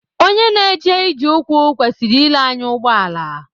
Onye na-eje ije ụkwụ kwesịiri ile anya ụgbọala